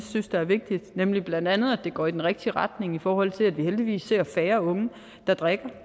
synes er vigtigt nemlig blandt andet at det går i den rigtige retning i forhold til at vi heldigvis ser færre unge der drikker